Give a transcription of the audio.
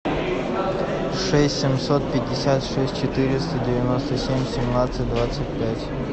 шесть семьсот пятьдесят шесть четыреста девяносто семь семнадцать двадцать пять